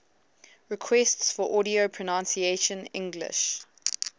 requests for audio pronunciation english